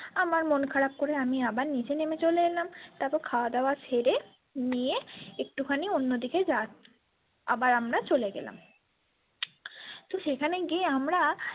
আমার মন খারাপ করে আমি আবার নিচে নেমে চলে এলাম তারপর খাওয়াদাওয়া সেরে নিয়ে একটু খানি অন্যদিকে যা আবার আমরা চলে গেলাম তো সেখানে গিয়ে আমরা।